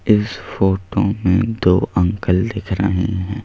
इस फोटो में दो अंकल दिख रहे हैं।